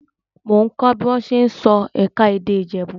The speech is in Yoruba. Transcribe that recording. Mò ń kọ́ bí wọ́n ṣe ń sọ ẹ̀ka-èdè Ìjẹ̀bú.